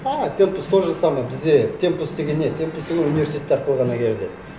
а темпос то же самое бізде темпос деген не темпос ол университет арқылы ғана келді